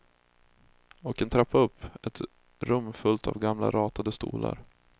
Och en trappa upp, ett rum fullt av gamla ratade stolar.